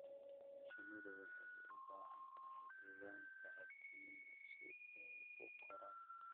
Shinnidu waxay u baahan tahay deegaan saaxiibtinimo si ay u koraan.